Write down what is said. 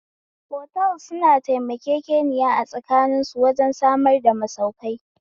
Otals suna taimakekeniya a tsakanin su wajen samar da masaukai